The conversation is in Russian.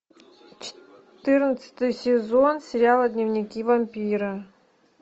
четырнадцатый сезон сериала дневники вампира